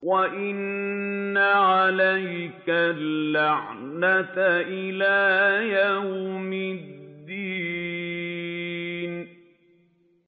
وَإِنَّ عَلَيْكَ اللَّعْنَةَ إِلَىٰ يَوْمِ الدِّينِ